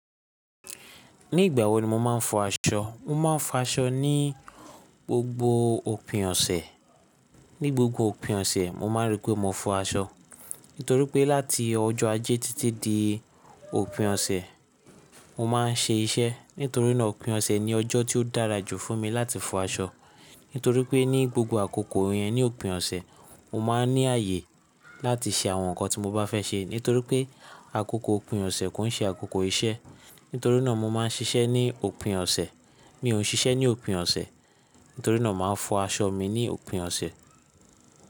Ní igbà wo ni mo máa ń fọ aṣọ? Mo máa ń fọ aṣọ ní gbogbo òpin ọ̀sẹ̀. Ní gbogbo òpin ọ̀sẹ̀, mo máa rí pé mo fọ aṣọ. Nítorí pé láti ọjọ́ ajé títí di òpin ọ̀sẹ̀, mo máa ń ṣe iṣẹ́. Nítorí náà òpin ọ̀sẹ̀ ni ọjọ́ tí ó dára jù fún mi láti fọ aṣọ. Nítorí pé ní gbogbo àkókò yẹn, ní òpin ọ̀sẹ̀, mo máa ń ní ààyè láti ṣe àwọn nǹkan tí mo bá fẹ́ ṣe. Nítorí pé àkókò òpin ọ̀sẹ̀ kò ń ṣe àkókò iṣẹ́. Nítorí náà mo máa ń ṣiṣẹ́ ní òpin ọ̀sẹ̀. Mi ò ń ṣiṣẹ́ ní òpin ọ̀sẹ̀. Nítorí náà màá fọ aṣọ mi ní òpin ọ̀sẹ̀.